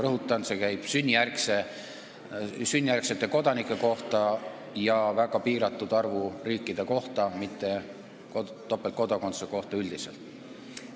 Rõhutan, et jutt on sünnijärgsetest kodanikest ja väga piiratud arvust riikidest, mitte topeltkodakondsusest üldiselt.